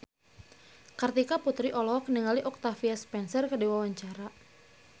Kartika Putri olohok ningali Octavia Spencer keur diwawancara